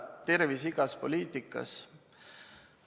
Tervis igas poliitikas.